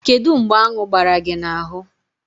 Kedu mgbe aṅu gbara gị n'ahụ?